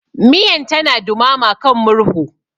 Miyan tana dumama kan murhu.